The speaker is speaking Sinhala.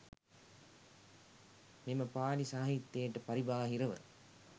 මෙම පාලි සාහිත්‍යයට පරිබාහිරව,